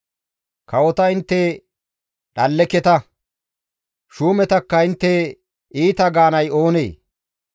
Kawota intte dhalleketa; shuumetakka intte iita gaanay oonee?